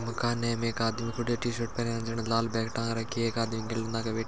मकाने में एक आदमी खड्यो है टीशर्ट पहेरया जिणे लाल बेग टांग रखी है एक आदमी गेले नाके बे --